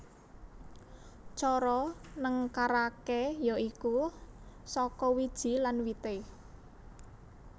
Cara nengkaraké ya iku saka wiji lan wité